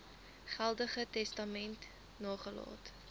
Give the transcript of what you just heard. geldige testament nagelaat